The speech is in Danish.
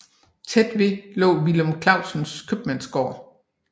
Tæt ved lå Villum Clausens købmandsgård